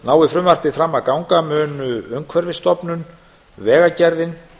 nái frumvarpið fram að ganga mun umhverfisstofnun vegagerðin